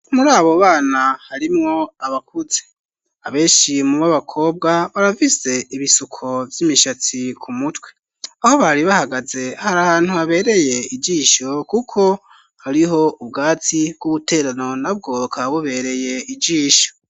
muri abo bana harimwo abakuze abeshi mu b'abakobwa baravize ibisuko by'imishatsi ku mutwe aho bari bahagaze hari ahantu habereye igisho kuko hariho ubwatsi bw'ubuterano na bwoka bubereye ijisho